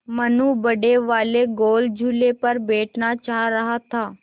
मनु बड़े वाले गोल झूले पर बैठना चाह रहा था